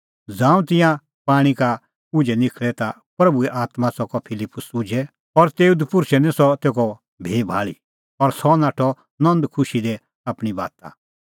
ज़ांऊं तिंयां पाणीं का उझै निखल़ै ता प्रभूए आत्मां च़कअ फिलिप्पुस उझै और तेऊ दपुर्षै निं सह तेखअ भी भाल़ी और सह नाठअ नंद खुशी दी आपणीं बाता